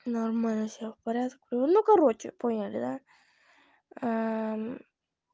нормально всё в порядке ну короче поняли да